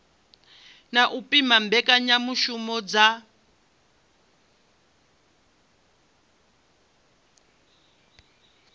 na u pima mbekanyamishumo dza